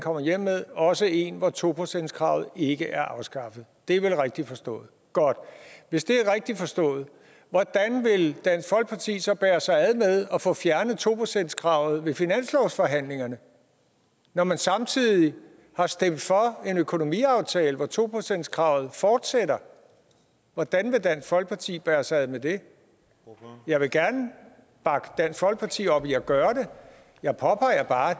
kommer hjem med også en hvor to procentskravet ikke er afskaffet det er vel rigtigt forstået godt hvis det er rigtigt forstået hvordan vil dansk folkeparti så bære sig ad med at få fjernet to procentskravet ved finanslovsforhandlingerne når man samtidig har stemt for en økonomiaftale hvor to procentskravet fortsætter hvordan vil dansk folkeparti bære sig ad med det jeg vil gerne bakke dansk folkeparti op i at gøre det jeg påpeger bare